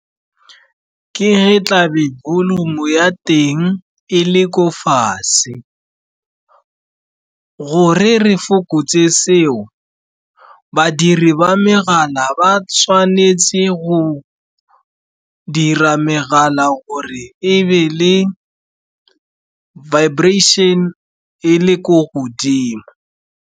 Ke ge tla be volume ya teng e le ko fatshe, gore re fokotse seo, badiri ba megala ba tshwanetse go dira megala gore ebe le vibration e le ko godimo.